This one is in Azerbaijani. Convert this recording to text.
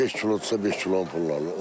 Beş kilodursa, beş kilonu pul alırlar.